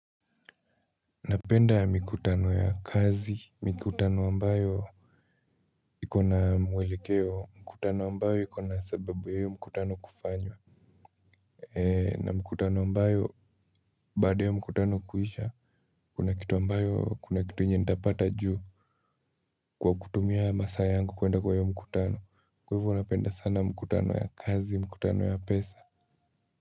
Napenda mikutano ya kazi mikutano ambayo iko na mwelekeo mkutano ambayo iko na sababu ya hiyo mkutano kufanywa. Na mkutano ambayo baada ya hiyo mkutano kuisha kuna kitu ambayo kuna kitu yenye nitapata juu. Kwa kutumia masaa yangu kuenda kwa hiyo mkutano kwa hivyo napenda sana mkutano ya kazi mkutano ya pesa.